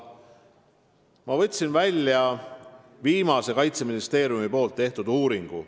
Ma võtsin välja viimase Kaitseministeeriumi tehtud uuringu.